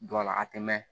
Don a la a tɛ mɛn